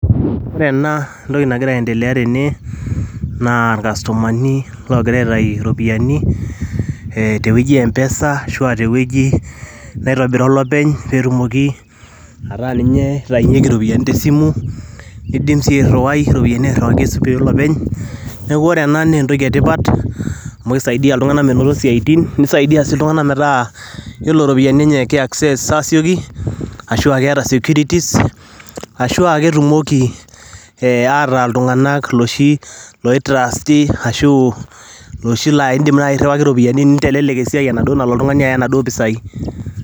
Ore ena entoki nagira aendelea tene, naa ilkastomani loogirai aitaayu iropiani tewueji e mpesa ashua aa tewueji naitubira olopeny, pee etumoki ataa ninye eitainyeki iropiani te simu. Niindim sii airuwai iropiani airiwaki, esimu olopeny, neaku ore ena naa entoki e tipat, amu ekisaidia iltung'ana meinoto isiaitin nisaidie sii iltung'ana metaa ore iropiani enye kei access asioki, ashu ake eata securities ashu ake etumoki iltung'ana ataa ake ilooshi loitrusti ashu naa indim naai airiwaki iropiani nintelelek esiai enaduo nalo oltung'ani aya naduo pisai.